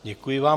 Děkuji vám.